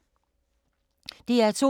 DR2